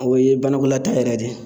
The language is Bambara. O ye banakɔla taa yɛrɛ ye de.